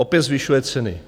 Opět zvyšuje ceny.